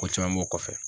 Ko caman b'o kɔfɛ